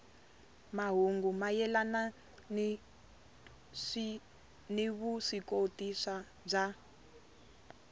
mahungu mayelana ni vuswikoti bya